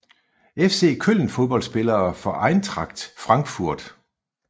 FC Köln Fodboldspillere fra Eintracht Frankfurt